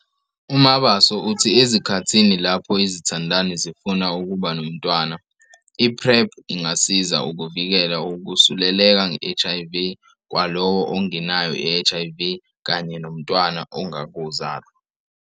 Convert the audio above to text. UMabaso uthi ezikhathini lapho izithandani zifuna ukuba nomntwana, i-PrEP ingasiza ukuvikela ukusuleleka nge-HIV kwalowo ongenayo i-HIV kanye nomntwana ongakazalwa.